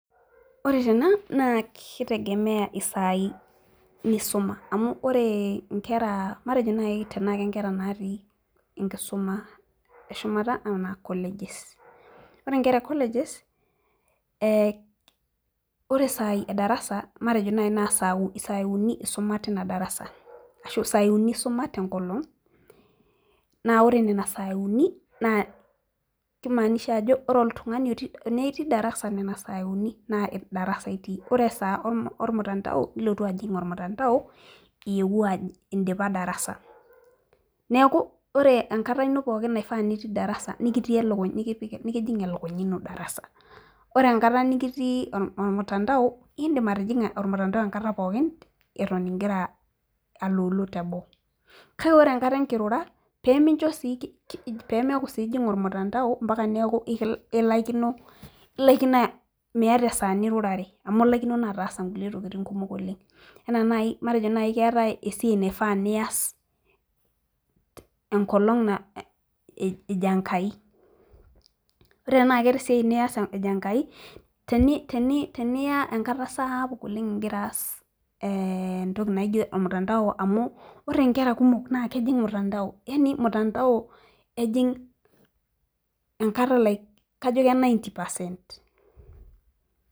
ore tena naa kitegemeya isaii nisuma matejo naaji tenaa kenkera natii enkisuma eshumata naa kolej, ore ikera ekolejes matejo naaji isaii uni isuma tina darasa, ashu isaii uni isuma tengolong naa yiolo nena saii uni kimanisha ajo tenaa itii darasa nena saii uni naa, ore esaa olmutandao nilotu ajing olmutandao, idipa darasa neeku ore enkata nitii darasa nikitii elukunya darasa ore engata nitii olmutandao nijing enkata pooki, kake ore enkata enkirura naa ilasima pee iyata enkata nirura matejo siyie iyata esiai ejo enkai teniya enkata sapuk amu ore inkera kumok naa kejing mutandao kajo ke nainti paasen.